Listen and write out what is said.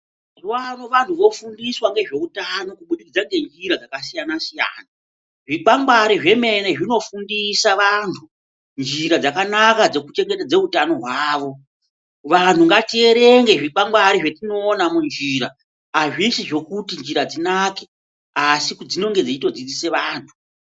Mazuva ano vantu vofundiswa ngezveutano kubudikidza ngenjira dzakasiyana siyana. Zvikwangwari zvemene zvinofundisa vantu njira dzakanaka dzekuchengetedza utano hwavo. Vantu ngatierenge zvikwangwari zvetinoona munjira, azvisi zvekuti njira dzinake asi kuti dzinenge dzeito dzidzisa vantu.